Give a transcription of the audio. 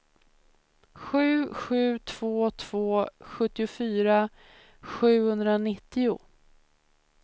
sju sju två två sjuttiofyra sjuhundranittio